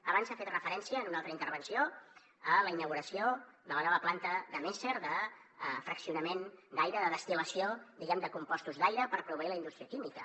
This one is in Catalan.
abans s’ha fet referència en una altra intervenció a la inauguració de la nova planta de messer de fraccionament d’aire de destil·lació de compostos d’aire per proveir la indústria química